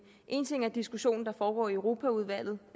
en ting er den diskussion der foregår i europaudvalget